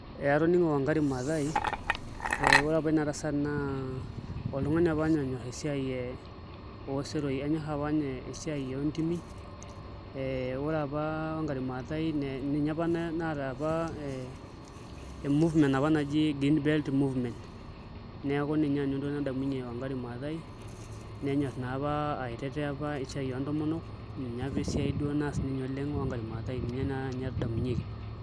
Ee atoning'o Wangari Mathaai ore apa ena tasat naa oltung'ani apa ninye onyorr esiai oseroi enyorr apa ninye esiai oontimi ee ore apa Wangari Mathaai ninye apa naata apa ee e movement apa naji Green Belt Movement, neeku ninye nanu entoki nadamunyie Wangari Mathaai nenyorr naa apa aitetea esiai naa oontomonok ninye apa duo esiai naas Wangari Mathaai ninye naa esiai nadamunyieki.